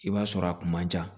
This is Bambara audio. I b'a sɔrɔ a kun man ca